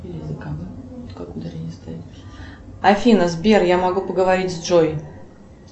афина сбер я могу поговорить с джой